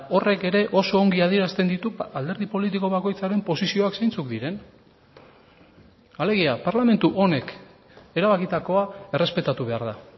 horrek ere oso ongi adierazten ditu alderdi politiko bakoitzaren posizioak zeintzuk diren alegia parlamentu honek erabakitakoa errespetatu behar da